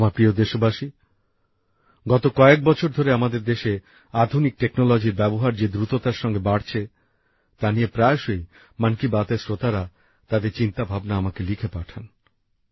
আমার প্রিয় দেশবাসী গত কয়েক বছর ধরে আমাদের দেশে আধুনিক প্রযুক্তির ব্যবহার যে দ্রুততার সঙ্গে বাড়ছে তা নিয়ে প্রায়শই মন কি বাত এর শ্রোতারা তাদের চিন্তা ভাবনা আমাকে লিখে পাঠান